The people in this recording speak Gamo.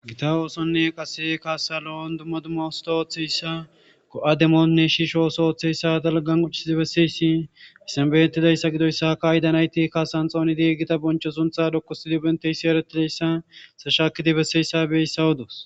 gita oosonne qase kaasalo7on dumma dumma usta ooththeyssa ko7ademonne shiisho oso ooththeyssa dalgan qochidi besseysshi issanbeytidayssa gidoyssa ka ayidanayti kasan xoonidi gita boncho suntha dokkosidi benteyssi eretileyssa sashaakidi besseyssa beyssawu doos